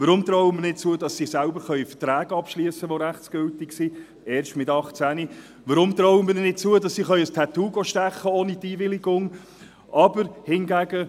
Warum trauen wir ihnen nicht zu, selbst Verträge, welche rechtsgültig sind, abzuschliessen, sondern erst mit 18? Warum trauen wir ihnen nicht zu, dass sie sich ohne Einwilligung ein Tattoo stechen zu lassen?